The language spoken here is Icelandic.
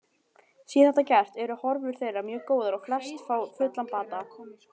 Sé þetta gert eru horfur þeirra mjög góðar og flest fá fullan bata.